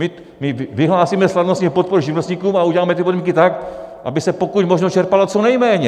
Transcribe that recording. My vyhlásíme slavnostně podporu živnostníkům a uděláme ty podmínky tak, aby se pokud možno čerpalo co nejméně!